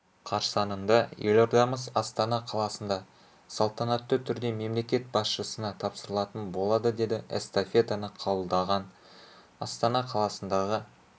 қарсаңында елордамыз астана қаласында салтанатты түрде мемлекет басшысына тапсырылатын болады деді эстафетаны қабылдаған астана қаласындағы